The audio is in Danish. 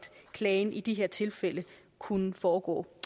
klagen i de her tilfælde kunne foregå